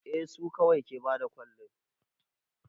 A su kawai ke bada kwalin